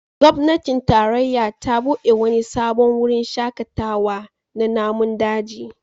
Gwamnatin tarayya ta bude wani sabon wurin shakatawa na namun daji